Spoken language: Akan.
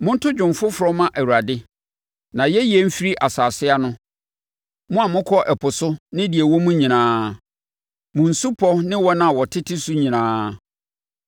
Monto dwom foforɔ mma Awurade! Nʼayɛyie mfiri asase ano, mo a mokɔ ɛpo so ne deɛ ɛwo mu nyinaa, mo nsupɔ ne wɔn a wɔtete so nyinaa.